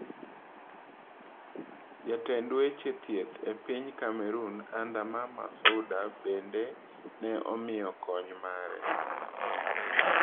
Jatend weche thieth e piny Cameroon Andre Mama Fouda bende ne omiyo kony mare.